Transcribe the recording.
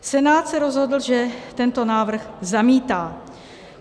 Senát se rozhodl, že tento návrh zamítá.